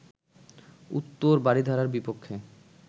উত্তর বারিধারার বিপক্ষে